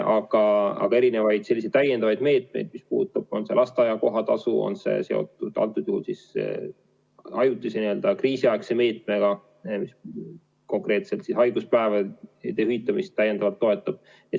Aga on ka erinevaid selliseid täiendavaid meetmeid, on see lasteaia kohatasu, on see seotud antud juhul ajutise, kriisiaegse meetmega, kui konkreetselt haiguspäevade hüvitamist täiendavalt toetatakse.